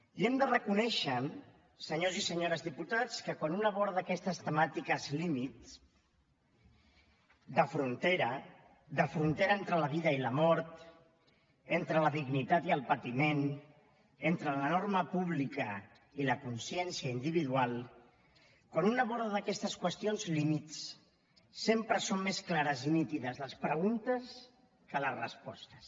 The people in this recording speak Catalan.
i hem de reconèixer senyors i senyores diputats que quan un aborda aquestes temàtiques límit de frontera de frontera entre la vida i la mort entre la dignitat i el patiment entre la norma pública i la consciència individual quan un aborda aquestes qüestions límit sempre són més clares i nítides les preguntes que les respostes